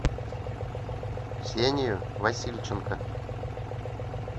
ксению васильченко